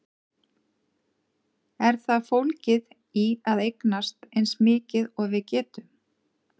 Er það fólgið í að eignast eins mikið og við getum?